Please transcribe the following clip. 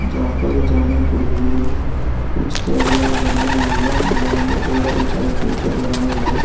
जहां पर जाने के लिए कुछ पेडिया बनाई हुई है। यह मंदिर थोड़ा ऊंचाई के ऊपर बनाया हुआ है।